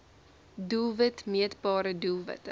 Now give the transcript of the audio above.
doelwit meetbare doelwitte